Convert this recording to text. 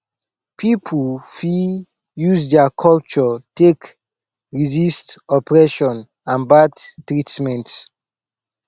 pipo fit use their culture take resist oppression and bad treatment